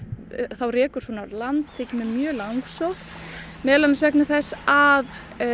þá rekur svona á land finnst mér mjög langsótt meðal annars vegna þess að